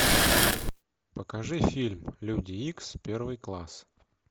покажи фильм люди икс первый класс